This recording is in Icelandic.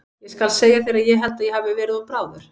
Ég skal segja þér að ég held að ég hafi verið of bráður.